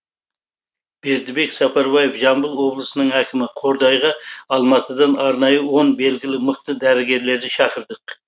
бердібек сапарбаев жамбыл облысының әкімі қордайға алматыдан арнайы он белгілі мықты дәрігерлерді шақырдық